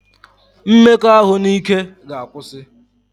Mmekọahụ n'ike ga akwụsị